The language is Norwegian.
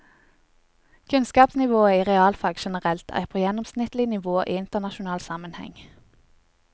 Kunnskapsnivået i realfag generelt er på gjennomsnittlig nivå i internasjonal sammenheng.